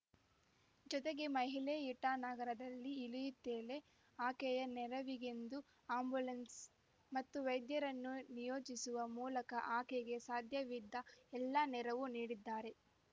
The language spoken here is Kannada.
ಜೊತೆಗೆ ಮಹಿಳೆ ಇಟಾನಗರದಲ್ಲಿ ಇಳಿಯುತ್ತಲೇ ಆಕೆಯ ನೆರವಿಗೆಂದು ಆ್ಯಂಬುಲೆನ್ಸ್‌ ಮತ್ತು ವೈದ್ಯರನ್ನು ನಿಯೋಜಿಸುವ ಮೂಲಕ ಆಕೆಗೆ ಸಾಧ್ಯವಿದ್ದ ಎಲ್ಲಾ ನೆರವು ನೀಡಿದ್ದಾರೆ